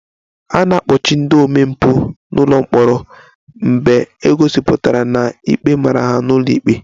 A na-ekpochi ndị omempụ n'ụlọ mkpọrọ mgbe e gosipụtara na ikpe mara ha n'ụlọ ikpe